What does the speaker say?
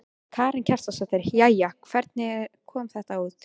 Karen Kjartansdóttir: Jæja, hvernig kom þetta út?